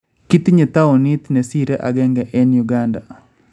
Kitinye tawuniit nesire agenge eng� uganda